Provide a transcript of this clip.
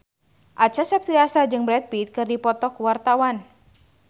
Acha Septriasa jeung Brad Pitt keur dipoto ku wartawan